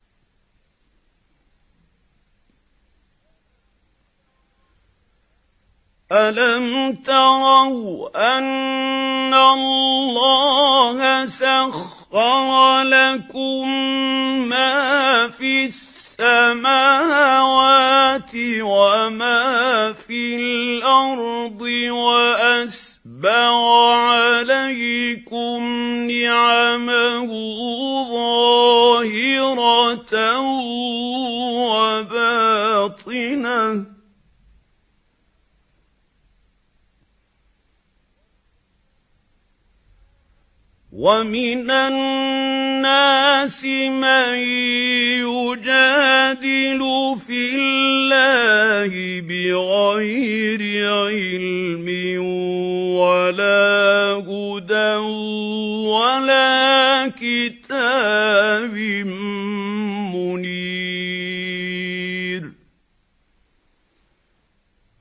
أَلَمْ تَرَوْا أَنَّ اللَّهَ سَخَّرَ لَكُم مَّا فِي السَّمَاوَاتِ وَمَا فِي الْأَرْضِ وَأَسْبَغَ عَلَيْكُمْ نِعَمَهُ ظَاهِرَةً وَبَاطِنَةً ۗ وَمِنَ النَّاسِ مَن يُجَادِلُ فِي اللَّهِ بِغَيْرِ عِلْمٍ وَلَا هُدًى وَلَا كِتَابٍ مُّنِيرٍ